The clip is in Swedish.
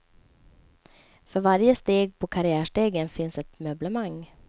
För varje steg på karriärstegen finns ett möblemang.